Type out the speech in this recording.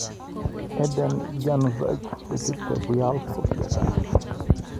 Adhan Januzaj kochut Real Sociedad